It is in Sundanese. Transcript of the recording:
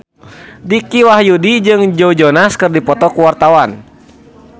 Dicky Wahyudi jeung Joe Jonas keur dipoto ku wartawan